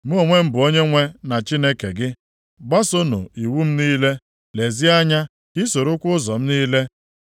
Mụ onwe m bụ Onyenwe na Chineke gị. Gbasoonụ iwu m niile, lezie anya ka ị sorokwa ụzọ m niile.